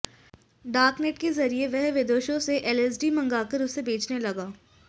dark net के जरिये वह विदेशों से एलएसडी मंगाकर उसे बेचने लगा